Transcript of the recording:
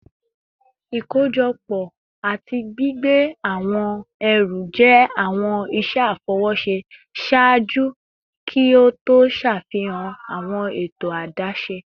Ikojọpọ ati gbigbe awọn ẹru jẹ awọn iṣẹ afọwọṣe ṣaaju ki o to ṣafihan awọn eto adaṣe